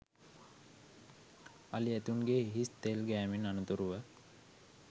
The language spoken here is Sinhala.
අලි ඇතුන්ගේ හිස තෙල් ගෑමෙන් අනතුරුව